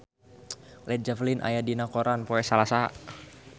Led Zeppelin aya dina koran poe Salasa